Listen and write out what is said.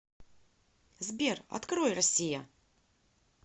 сбер открой россия